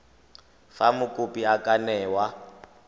fa mokopi a ka newa